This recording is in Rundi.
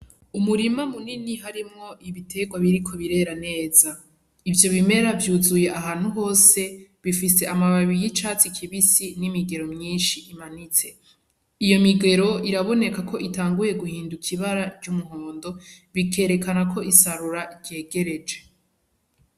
Umurima munini harimwo ibitegwa biriko birera neza. Ivyo bimera vyuzuye ahantu hise, bifise amababi y'icatsi kibisi n'imigero myinshi imanitse. Iyo migero irabonekako itanguye guhinduka ibara ry'umuhondo, bikerekana ko isarura ryegereje.